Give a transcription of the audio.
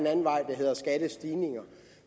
anden vej der hedder skattestigninger